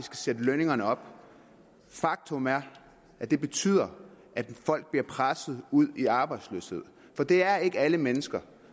sætte lønningerne op faktum er at det betyder at folk bliver presset ud i arbejdsløshed for det er ikke alle mennesker